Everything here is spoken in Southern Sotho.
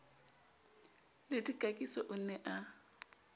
le dikakiso o ne a